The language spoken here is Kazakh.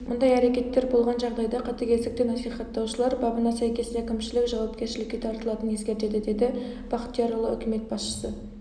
мұндай әрекеттер болған жағдайда қатыгездікті насихаттаушылар бабына сәйкес әкімшілік жауапкершілікке тартылатынын ескертеді деді бақтиярұлы үкімет басшысы